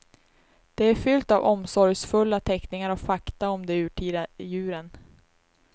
Det är fyllt av omsorgsfulla teckningar och fakta om de urtida djuren.